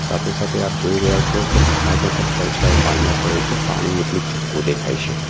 સાથે સાથે આપ જોઈ રહ્યા છો કે પહાડ નો પણ પડછાયો પાણીમાં પડે છે પાણી એટલું ચોખ્ખું દેખાય છે.